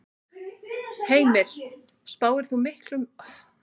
Heimir: Spáir þú miklum umræðum um tillöguna loks þegar hún kemst á dagskrá?